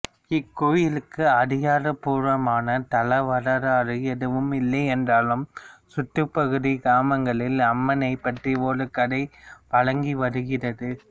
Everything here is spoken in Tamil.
இக்கோயிலுக்கு அதிகாரபூர்வமான தலவரலாறு எதுவும் இல்லையென்றாலும் சுற்றுப்பகுதி கிராமங்களில் அம்மனை பற்றி ஒரு கதை வழங்கி வருகிறது